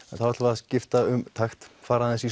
þá ætlum við að skipta um takt fara aðeins í